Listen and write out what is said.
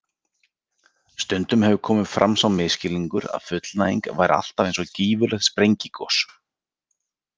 Stundum hefur komið fram sá misskilningur að fullnæging væri alltaf eins og gífurlegt sprengigos.